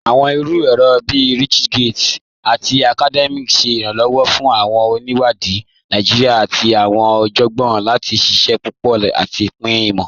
Awọn iru èrò bíí ResearchGate àti Academia ṣè iranlọwọ́ fún awọn oníwádì Naijíríà àti awọn ọjọ́gbọn láti ṣíṣẹ̀ papọ̀ àti pin imọ.